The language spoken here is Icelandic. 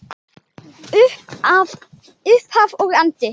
Upphaf og endi.